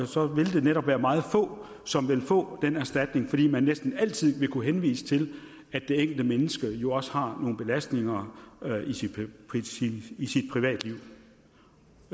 så vil det netop være meget få som vil få den erstatning fordi man næsten altid vil kunne henvise til at det enkelte menneske jo også har nogle belastninger i sit privatliv